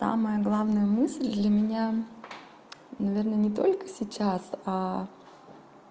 самая главная мысль для меня наверное не только сейчас а